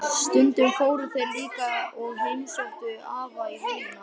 Stundum fóru þeir líka og heimsóttu afa í vinnuna.